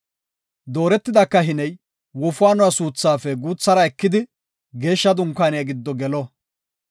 Dooretida kahiney wofaanuwa suuthaafe guuthara ekidi Geeshsha Dunkaaniya gido gelo.